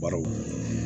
Barow